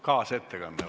Kaasettekanne.